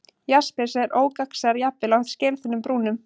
Jaspis er ógagnsær, jafnvel á skelþunnum brúnum.